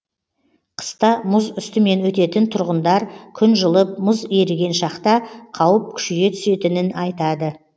қыста мұз үстімен өтетін тұрғындар күн жылып мұз еріген шақта қауіп күшейе түсетінін айтады